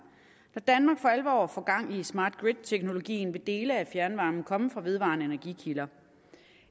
når danmark for alvor får gang i smart grid teknologien vil dele af fjernvarmen komme fra vedvarende energikilder